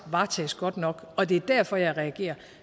varetages godt nok og det er derfor jeg reagerer